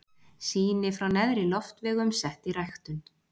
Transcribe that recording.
Sýni frá neðri loftvegum sett í ræktun.